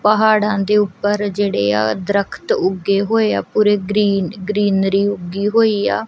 ਪਹਾੜਾਂ ਦੇ ਊਪਰ ਜਿਹੜੇ ਆ ਦ੍ਰਖਤ ਉੱਗੇ ਹੋਏਆ ਪੂਰੇ ਗ੍ਰੀਨ ਗ੍ਰੀਨਰੀ ਉੱਗੀ ਹੋਇਆ।